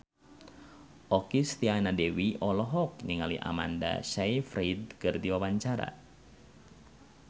Okky Setiana Dewi olohok ningali Amanda Sayfried keur diwawancara